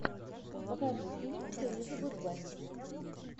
покажи фильм с элизабет бэнкс